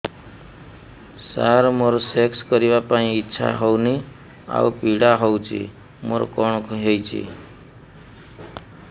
ସାର ମୋର ସେକ୍ସ କରିବା ପାଇଁ ଇଚ୍ଛା ହଉନି ଆଉ ପୀଡା ହଉଚି ମୋର କଣ ହେଇଛି